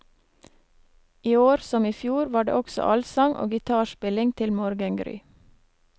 Iår, som ifjor, var det også allsang og gitarspilling til morgengry.